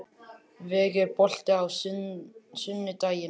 Veig, er bolti á sunnudaginn?